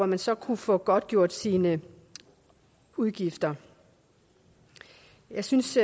man så kunne få godtgjort sine udgifter jeg synes